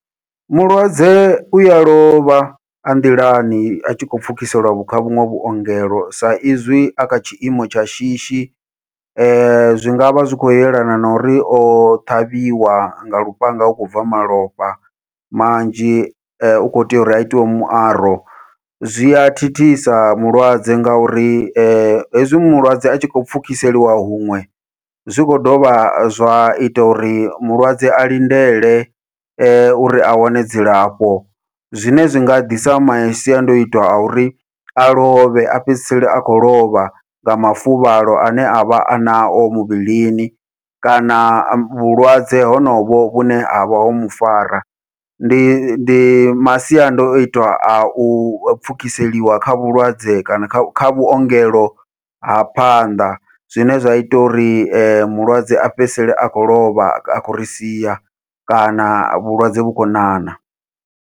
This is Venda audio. Mulwadze uya lovha a nḓilani atshi khou pfhukiseliwa vhu kha vhuṅwe vhuongelo sa izwi a kha tshiimo tsha shishi, zwi ngavha zwi khou yelana na uri o ṱhavhiwa nga lufhanga u khou bva malofha manzhi u kho tea uri a itiwe muaro, zwia thithisa mulwadze ngauri hezwi mulwadze atshi khou pfhukiseliwa huṅwe zwi khou dovha zwa ita uri mulwadze a lindele uri a wane dzilafho, zwine zwi nga ḓisa masiandoitwa a uri a lovhe a fhedzisela a khou lovha nga mafuvhalo ane avha a nao muvhilini kana vhulwadze honovho vhune havha ho mufara. Ndi ndi masiandoitwa au pfhukiseliwa kha vhulwadze kana kha kha vhuongelo ha phanḓa, zwine zwa ita uri mulwadze a fhedzisele a khou lovha a khou ri sia kana vhulwadze vhu khou ṋaṋa.